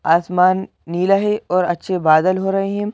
आसमान नीला है और अच्छे बादल हो रहे हैं।